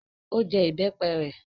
Ó jẹ ìbẹ́pẹ rẹ?